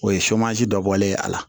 O ye dɔ bɔlen ye a la